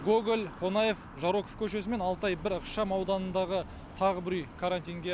гоголь қонаев жароков көшесі мен алтай бір ықшамауданындағы тағы бір үй карантинге